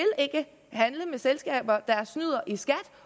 ikke handle med selskaber der snyder i skat